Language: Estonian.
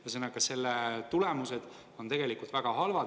Ühesõnaga, selle tulemused on tegelikult väga halvad.